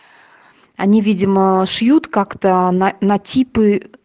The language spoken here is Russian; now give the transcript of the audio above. они видимо шьют как-то на на типы